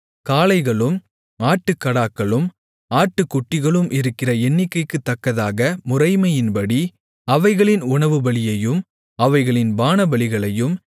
காளைகளும் ஆட்டுக்கடாக்களும் ஆட்டுக்குட்டிகளும் இருக்கிற எண்ணிக்கைக்குத்தக்கதாக முறைமையின்படி அவைகளின் உணவுபலியையும் அவைகளின் பானபலிகளையும்